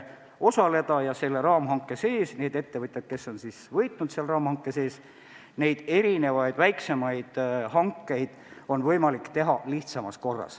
Aga selle raamhanke sees on neil ettevõtjatel, kes on raamhanke sees võitnud, võimalik teha erisuguseid väiksemaid hankeid lihtsamas korras.